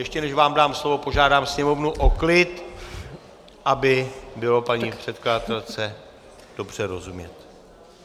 Ještě než vám dám slovo, požádám sněmovnu o klid, aby bylo paní předkladatelce dobře rozumět.